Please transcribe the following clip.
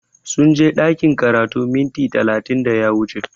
Sunje ɗakin karatu minti talatin da ya wuce